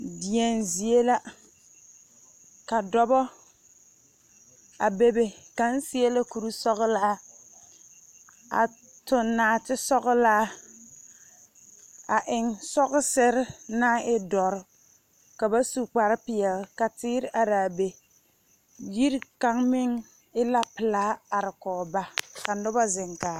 deɛne zie la kadɔbɔ a bebe kaŋ seɛ la kuri sɔgelaa a toŋ nɔte sɔgelaa a eŋ sɔgesere naŋ e doɔre ka ba su kpare peɛle ka teer are a be. Yiri kaŋ meŋ e la pelaa are kɔge ba ka noba zeŋ kaara.